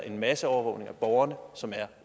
en masseovervågning af borgerne som er